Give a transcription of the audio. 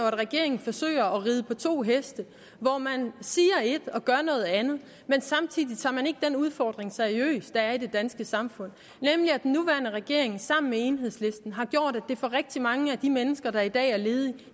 at regeringen forsøger at ride på to heste hvor man siger et og gør noget andet men samtidig tager man ikke den udfordring seriøst der er i det danske samfund nemlig at den nuværende regering sammen med enhedslisten har gjort at det for rigtig mange af de mennesker der i dag er ledige